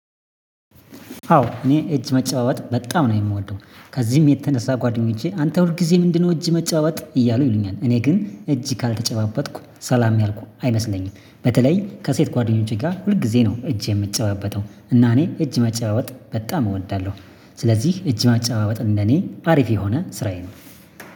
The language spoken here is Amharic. አዎ እኔ እጅ መጨባበጥ በጣም ነው የምወደው ከዚህም የተነሳ ጓደኞቼ አንተ ሁል ጊዜ ምንድነው? እጅ መጨባበጥ እያሉ ይሉኛል እኔ ግን እጅ ካልተጨባበጥኩ ሰላም ያልኩ አይመስለኝም። በተለይ ከሴት ጓደኞቼ ጋር ሁል ጊዜ ነው እጅ የምጨባበጠው እና እኔ እጅ መጨባበጥ በጣም እወዳለሁ። ስለዚህ እጅ ማጨባበጥ እንደኔ አሪፍ የሆነ ስራዬ ነው